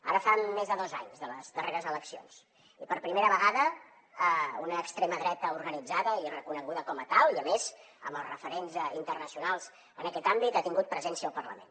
ara fa més de dos anys de les darreres eleccions i per primera vegada una extrema dreta organitzada i reconeguda com a tal i a més amb els referents internacionals en aquest àmbit ha tingut presència al parlament